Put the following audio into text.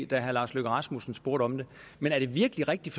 da herre lars løkke rasmussen spurgte om det men er det virkelig rigtigt